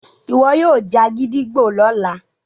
iwọ yoo já gídígbò lọla